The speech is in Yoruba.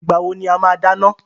Ìgbà wo ni a máa dáná?